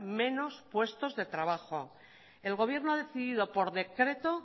menos puestos de trabajo el gobierno ha decidido por decreto